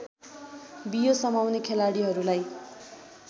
बियो समाउने खेलाडीहरूलाई